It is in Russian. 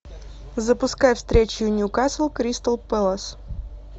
запускай встречу ньюкасл кристал пэлас